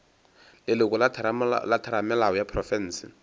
leloko la theramelao ya profense